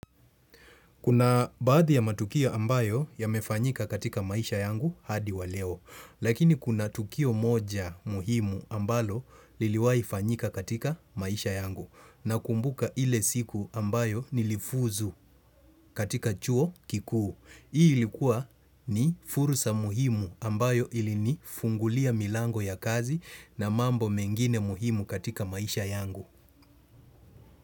Kuna baadhi ya matukio ambayo ya mefanyika katika maisha yangu hadi waleo, lakini kuna tukio moja muhimu ambalo liliwai fanyika katika maisha yangu na kumbuka ile siku ambayo nilifuzu katika chuo kikuu. Hii ilikuwa ni furusa muhimu ambayo ilini fungulia milango ya kazi na mambo mengine muhimu katika maisha yangu.